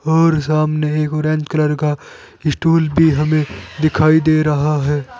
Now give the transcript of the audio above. और सामने एक ऑरेंज कलर का स्टूल भी हमें दिखाई दे रहा है।